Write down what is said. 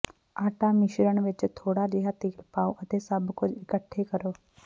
ਆਟਾ ਮਿਸ਼ਰਣ ਵਿਚ ਥੋੜਾ ਜਿਹਾ ਤੇਲ ਪਾਓ ਅਤੇ ਸਭ ਕੁਝ ਇਕੱਠੇ ਕਰੋ